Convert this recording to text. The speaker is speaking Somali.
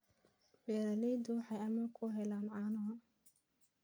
Beeraleydu waxay amaah ku helaan caano.